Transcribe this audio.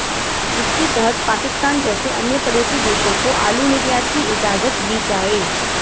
जिसके तहत पाकिस्तान जैसे अन्य पड़ोसी देशों को आलू निर्यात की इजाजत दी जाए